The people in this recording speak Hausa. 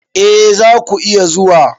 E, za ku iya zuwa.